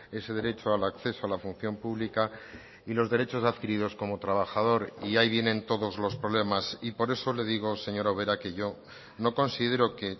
ese derecho al acceso a la función pública y los derechos adquiridos como trabajador y ahí vienen todos los problemas y por eso le digo señora ubera que yo no considero que